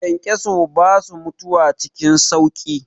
Kyankyasai basu mutuwa cikin sauƙi.